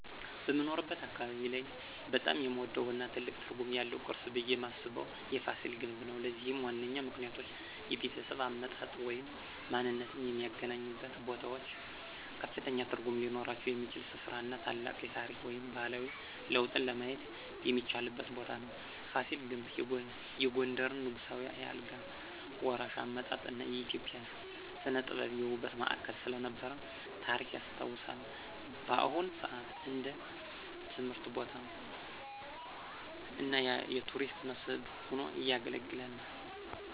በምኖርበት አካባቢ ላይ በጣም የምወደው እና ትልቅ ትርጉም ያለው ቅርስ ብየ ማስበው የፋሲል ግንብ ነው። ለዚህም ዋነኛ ምክንያቶች -የቤተሰብ አመጣጥ ወይም ማንነትዎ የሚገናኙበት ቦታዎች ከፍተኛ ትርጉም ሊኖራቸው የሚችል ሥፍራ እና ታላቅ የታሪክ ወይም ባህላዊ ለውጥን ለማየት የሚቻልበት ቦታ ነው። ፋሲል ግንብ የጎንደርን ንጉሳዊ የአልጋ ወራሽ አመጣጥ እና የኢትዮጵያ ሥነ-ጥበብ የውበት ማዕከል ስለነበረ ታሪክ ያስታውሳል። በአሁን ሰአት እንደ ትምህርት ቦታ እና የቱሪስት መስህብ ሆኖ ያገለግላል።